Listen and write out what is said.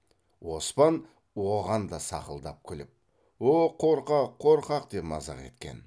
оспан оған да сақылдап күліп о қорқақ қорқақ деп мазақ еткен